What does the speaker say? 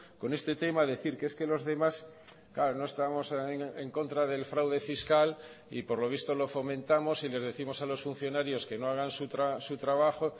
con este tema a decir que es que los demás claro no estamos en contra del fraude fiscal y por lo visto lo fomentamos y les décimos a los funcionarios que no hagan su trabajo